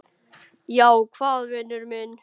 Já, hvað vinur minn?